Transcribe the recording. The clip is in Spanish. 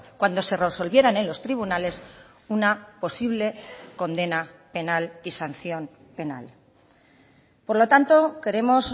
cuando se resolvieran en los tribunales una posible condena penal y sanción penal por lo tanto queremos